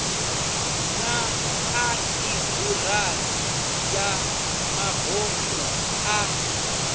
na ḽaiburari ya mabofu ya